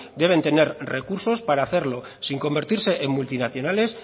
deben tener recursos para hacerlo sin convertirse en multinacionales